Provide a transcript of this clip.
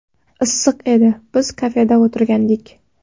Issiq edi, biz kafeda o‘tirgandik.